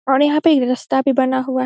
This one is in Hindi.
और यहाँ पे रास्ता भी बना हुआ है।